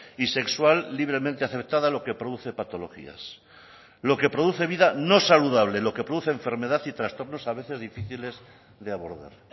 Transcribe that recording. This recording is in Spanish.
y sexual libremente acertada lo que produce patologías lo que produce vida no saludable lo que produce enfermedad y trastornos a veces difíciles de abordar